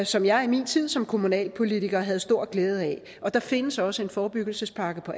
som jeg i min tid som kommunalpolitiker havde stor glæde af og der findes også en forebyggelsespakke på